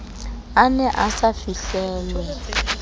a ne a sa fihlelwe